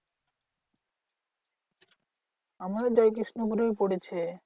আমাদের জয়কৃষ্ণপুর এই পড়েছে।